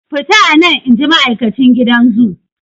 Fita anan!inji ma'aikacin gidan zoo.